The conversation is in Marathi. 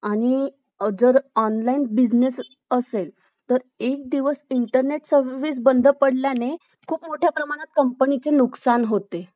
आणि Online Business जर असेल तर एक दिवस Internet Service बंद पडल्याने खूप मोठ्या प्रमाणात कंपनीचे नुकसान होते